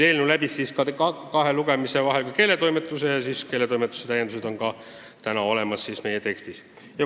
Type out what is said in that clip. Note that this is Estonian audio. Eelnõu läbis kahe lugemise vahel ka keeletoimetuse, mille täiendused on samuti meie tekstis olemas.